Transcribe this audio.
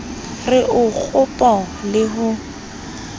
re o kgopo le ho